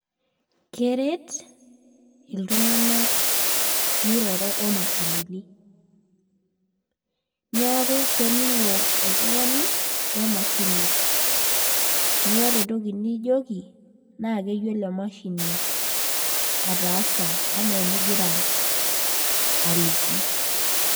Keret iltung'anak miroro omashinini. Niaku kening'o oltung'ani, wemashini. Niata entoki nijoki, na keyiolo emashini ataasa enaa enigira aliki.